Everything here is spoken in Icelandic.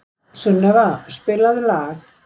Sunneva, spilaðu lag.